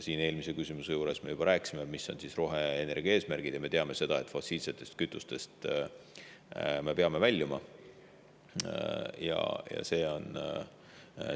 Eelmise küsimuse juures me juba rääkisime, mis on roheenergia eesmärgid, ja me teame, et me peame väljuma fossiilsete kütuste.